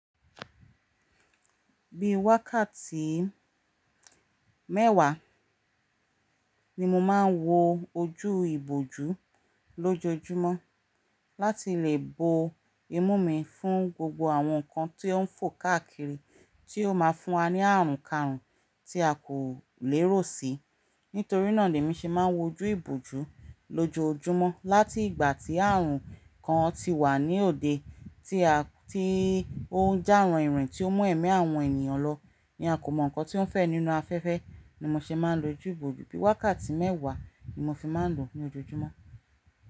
Bí wákàtí mẹ́wàá Ni mo máa ń wo ojú ìbòjú lójoojúmọ́ láti lè bo imú mi fún gbogbo àwọn nǹkan tí ó ń fò káàkiri tí ó máa fún wa ní àrùn karùn tí a kò lèrò si. Nítorí náà ni emí ṣe máa ń wojú ìbòjú lójoojúmọ́ láti ìgbà tí àrùn kan ti wà ní òde tí ó ń ja ranin ranin tí ó mú ẹ̀mí àwọn ènìyàn lọ ní a kò mọ̀ nǹkan tí ó ń fẹ́ nínú afẹ́fẹ́ ni mo ṣe máa ń lo ojú ìbòjú. Bí wákàtí mẹ́wàá ni mo fi máa ń lò ó lójoojúmọ́.